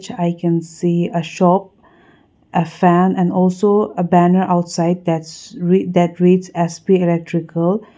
i can see a shop a fan and also a banner outside that read as sp electricals.